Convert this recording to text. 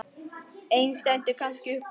Ein stendur kannski upp úr.